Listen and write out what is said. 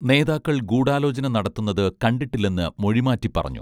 നേതാക്കൾ ഗൂഢാലോചന നടത്തുന്നത് കണ്ടിട്ടില്ലെന്ന് മൊഴിമാറ്റി പറഞ്ഞു